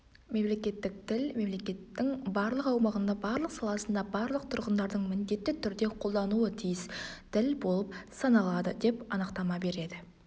мемлекеттік тіл мемлекеттің барлық аумағында барлық саласында барлық тұрғындардың міндетті түрде қолдануы тиіс тіл болып саналады деп анықтама береді